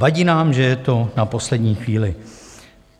Vadí nám, že je to na poslední chvíli.